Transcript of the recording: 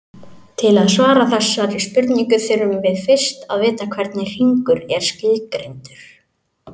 Til að svara þessari spurningu þurfum við fyrst að vita hvernig hringur er skilgreindur.